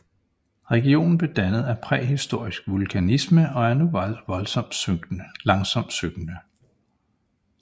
Regionen blev dannet af præhistorisk vulkanisme og er nu langsomt synkende